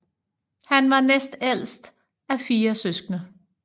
Han var næstældst af fire søskende